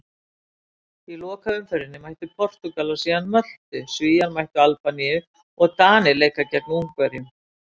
Í lokaumferðinni mæta Portúgalar síðan Möltu, Svíar mæta Albaníu og Danir leika gegn Ungverjum.